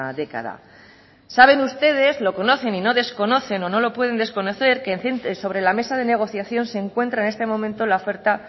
década saben ustedes lo conocen y no desconocen o no lo pueden desconocer que sobre la mesa de negociación se encuentra en este momento la oferta